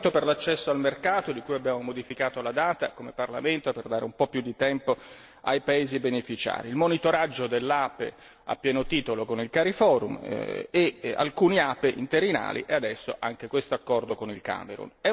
Il regolamento per l'accesso al mercato, di cui abbiamo modificato la data come Parlamento, per dare un po' più di tempo ai paesi beneficiari, il monitoraggio dell'APE, a pieno titolo con il Cariforum e alcuni APE interinali, adesso anche questo accordo con il Camerun.